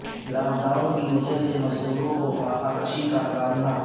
lock down کی وجہ سے مزدوروں کوفاقہ کشی کاسامنا